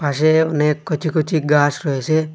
পাশে অনেক কচি কচি গাস রয়েসে।